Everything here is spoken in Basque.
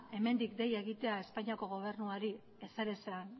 hemendik dei egitea espainiako gobernuari ezerezean